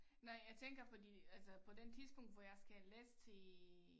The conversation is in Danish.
Nej jeg tænker fordi altså på den tidspunkt hvor jeg skal læse til